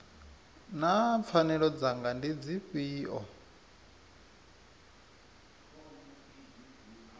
naa pfanelo dzanga ndi dzifhio